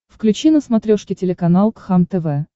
включи на смотрешке телеканал кхлм тв